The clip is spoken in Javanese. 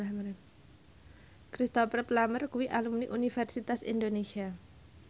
Cristhoper Plumer kuwi alumni Universitas Indonesia